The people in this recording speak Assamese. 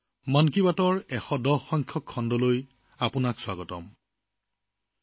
মন কী বাতৰ ১১০তম খণ্ডলৈ আপোনালোক সকলোকে স্বাগতম জনাইছো